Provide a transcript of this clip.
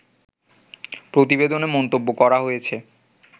প্রতিবেদনে মন্তব্য করা হয়েছে